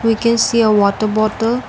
we can see a water bottle.